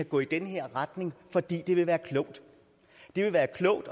gå i den her retning fordi det vil være klogt det vil være klogt